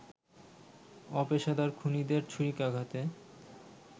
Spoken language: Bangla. অপেশাদার খুনিদের ছুরিকাঘাতে